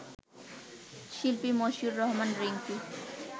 শিল্পী মশিউর রহমান রিংকু